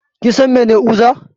Kinsan mene uza?